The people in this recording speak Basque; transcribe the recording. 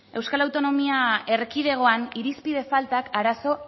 euskal autonomia erkidegoan irizpide faltak arazo